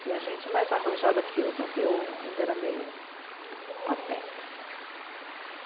Tinha gente mais arrojada que eu, mas eu ainda era meio pateta.